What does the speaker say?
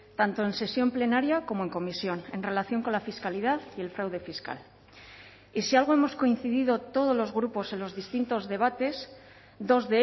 tanto en sesión plenaria como en comisión en relación con la fiscalidad y el fraude fiscal y si algo hemos coincidido todos los grupos en los distintos debates dos